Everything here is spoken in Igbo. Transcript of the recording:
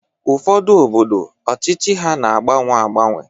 Ụfọdụ obodo ọchịchị ha na-agbanwe agbanwe